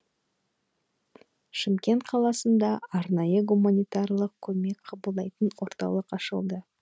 шымкент қаласында арнайы гуманитарлық көмек кабылдайтын орталық ашылады